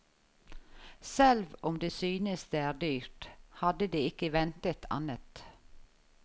Selv om de synes det er dyrt, hadde de ikke ventet annet.